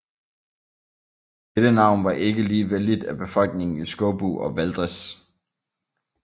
Dette navn var ikke lige vellidt af befolkningen i Skåbu og Valdres